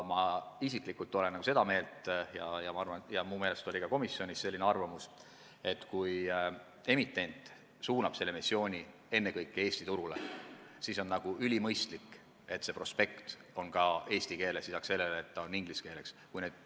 Ma isiklikult olen seda meelt ja minu meelest oli ka komisjonis arvamus, et kui emitent suunab missiooni ennekõike Eesti turule, siis on ülimõistlik, et prospekt on lisaks sellele, et ta on inglise keeles, ka eesti keeles.